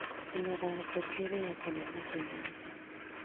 Mĩmera ya mbembe ĩrĩagwo nĩ mahĩũ mothe